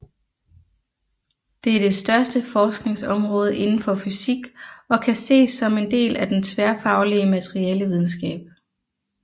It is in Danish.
Det er det største forskningsområde inden for fysik og kan ses som en del af den tværfaglige materialevidenskab